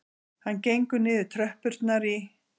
Hann gengur niður tröppurnar í